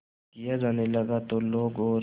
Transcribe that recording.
किया जाने लगा तो लोग और